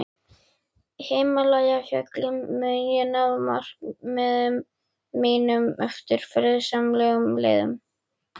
Himalæjafjöllum mun ég ná markmiðum mínum eftir friðsamlegum leiðum.